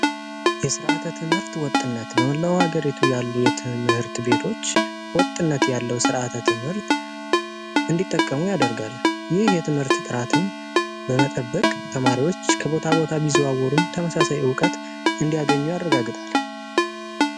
የሥርዓተ ትምህርት ወጥነት በመላው ሀገርየቱ ያሉ የትምህርት ቤቶች ወጥነት ያለው ሥርዓተ ትምህርት እንዲጠቀሙ ያደርጋል። ይህ የትምህርት ጥራትን በመጠበቅ ተማሪዎች ከቦታ ቦታ ቢዙዋወሩም ተመሳሳይ ዕውቀት እንዲያገኙ ያደረጋግጣል።